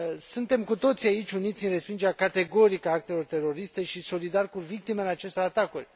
Suntem cu toții aici uniți în respingerea categorică a actelor teroriste și solidari cu victimele acestor atacuri.